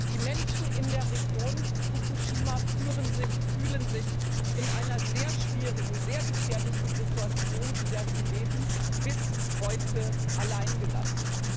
Die Menschen in der Region Fukushima fühlen sich in der sehr schwierigen und sehr gefährlichen Situation, in der sie leben, bis heute allein gelassen.